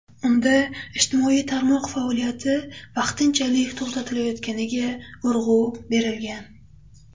Unda ijtimoiy tarmoq faoliyati vaqtinchalik to‘xtatilayotganiga urg‘u berilgan.